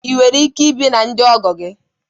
Ị nwere ike ibi na ndị ọgọ gị?